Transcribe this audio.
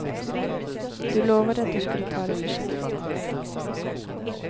Du lovade att du skulle ta det försiktigt.